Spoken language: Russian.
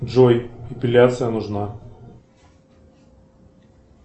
джой эпиляция нужна